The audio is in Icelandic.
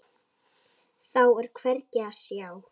Þá er hvergi að sjá.